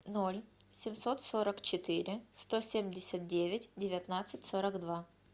ноль семьсот сорок четыре сто семьдесят девять девятнадцать сорок два